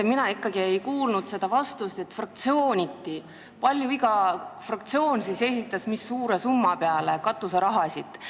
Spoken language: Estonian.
Mina ikkagi ei kuulnud vastust, kui palju on iga fraktsioon katuseraha taotlenud, kui suures summas on seda fraktsiooniti jagatud.